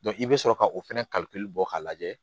i bɛ sɔrɔ ka o fɛnɛ bɔ k'a lajɛ